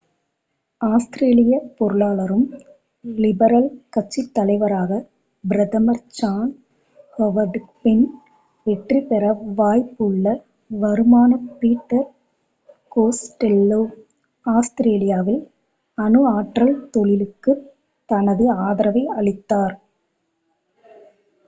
ஆஸ்திரேலியப் பொருளாளரும் லிபரல் கட்சித் தலைவராகப் பிரதமர் ஜான் ஹோவர்டுக்குப் பின் வெற்றிபெற வாய்ப்புள்ளவருமான பீட்டர் கோஸ்டெல்லோ ஆஸ்திரேலியாவில் அணு ஆற்றல் தொழிலுக்குத் தனது ஆதரவை அளித்தார்